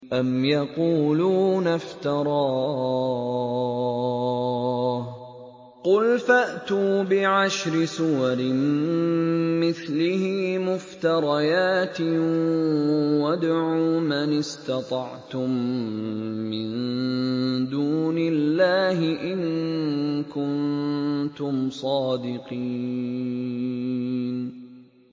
أَمْ يَقُولُونَ افْتَرَاهُ ۖ قُلْ فَأْتُوا بِعَشْرِ سُوَرٍ مِّثْلِهِ مُفْتَرَيَاتٍ وَادْعُوا مَنِ اسْتَطَعْتُم مِّن دُونِ اللَّهِ إِن كُنتُمْ صَادِقِينَ